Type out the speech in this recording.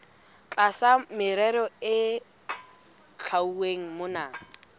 tlasa merero e hlwauweng mona